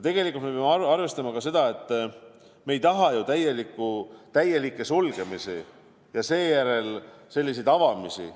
Tegelikult me peame arvestama ka seda, et me ei taha ju täielikke sulgemisi ja seejärel selliseid avamisi.